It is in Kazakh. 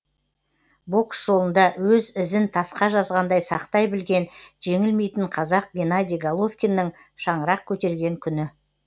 бокс жолында өз ізін тасқа жазғандай сақтай білген жеңілмейтін қазақ генадий головкиннің шаңырақ көтерген күні